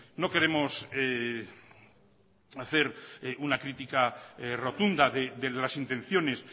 no queremos hacer una crítica rotunda de las intenciones